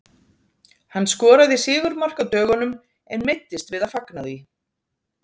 Hann skoraði sigurmark á dögunum en meiddist við að fagna því.